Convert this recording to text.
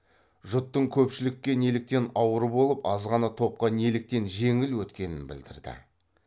жұттың көпшілікке неліктен ауыр болып аз ғана топқа неліктен жеңіл өткенін білдірді